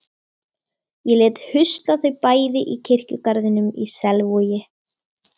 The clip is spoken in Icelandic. Ég lét husla þau bæði í kirkjugarðinum í Selvogi.